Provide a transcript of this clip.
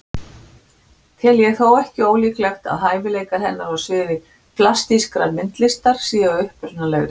Tel ég þó ekki ólíklegt að hæfileikar hennar á sviði plastískrar myndlistar séu upprunalegri.